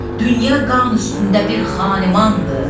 Dünya qan üstündə bir xanimandır.